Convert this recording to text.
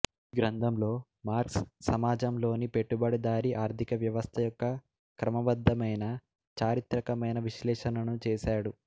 ఈ గ్రంథంలో మార్క్స్ సమాజం లోని పెట్టుబడిదారీ ఆర్థిక వ్యవస్థ యొక్క క్రమబద్దమైన చారిత్రకమైన విశ్లేషణను చేశాడు